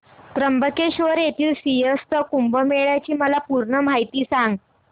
त्र्यंबकेश्वर येथील सिंहस्थ कुंभमेळा ची मला पूर्ण माहिती सांग